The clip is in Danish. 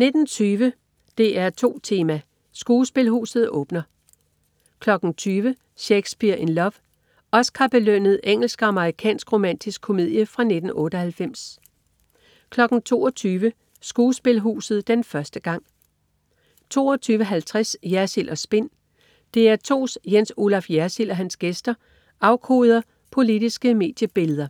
19.20 DR2 Tema: Skuespilhuset åbner 20.00 Shakespeare in Love. Oscar-belønnet eng.-amer. romantisk komedie fra 1998 22.00 Skuespilhuset - den første gang 22.50 Jersild & Spin. DR2's Jens Olaf Jersild og hans gæster afkoder ugens politiske mediebilleder